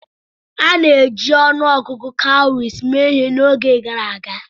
A na-eji ọnụ ọgụgụ kawuries mee ihe n'oge gara aga.